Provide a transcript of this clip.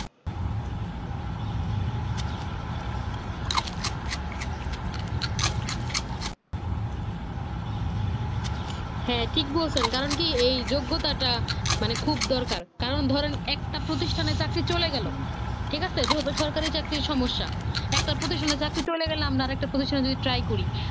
হ্যাঁ ঠিক বলছেন কারণ। কি এই যোগ্যতা টা মানে খুব দরকার কারণ ধরেনএকটা প্রতিষ্ঠানে চাকরি চলে গেল ঠিক আছে যেহেতু সরকারি চাকরের সমস্যা একটা প্রতিষ্ঠানে চলে গেলে আমার আর একটা প্রতিষ্ঠান নেয়ার জন্য জন্য try করি